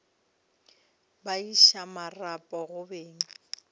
ba iša marapo go beng